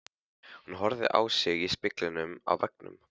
Hún horfði á sig í spegli á veggnum.